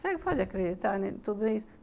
Você pode acreditar em tudo isso?